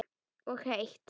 Og heitt.